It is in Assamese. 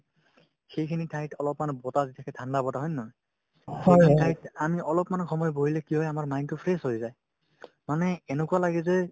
সেইখিনি ঠাইত অলপমান বতাহ যদি থাকে ঠাণ্ডা বতাহ হয় নে নহয় সেইখিনি ঠাইত আমি অলপমান সময় বহিলে কি হয় আমাৰ mine তো fresh হৈ যায় মানে এনেকুৱা লাগে যে